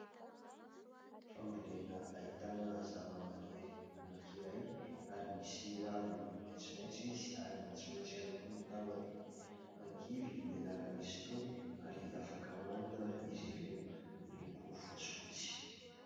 Fambolena ahitana zavamaniry anankiray ary misy raviny maitsomaitso izy ary maitsomaitso ihany koa ny tahony. Angivy ny anarany izy itony ary afaka hohanina izy ireo, miloko fotsifotsy.